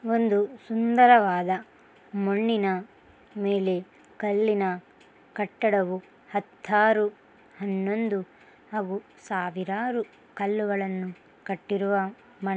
ಒಂದು ಸುಂದರವಾದ ಮಣ್ಣಿನ ಮೇಲೆ ಕಲ್ಲಿನ ಕಟ್ಟಡವು ಹತ್ತಾರು ಹನ್ನಂದು ಅವು ಸಾವಿರಾರು ಕಲ್ಲುಗಳನ್ನು ಕಟ್ಟಿರುವ--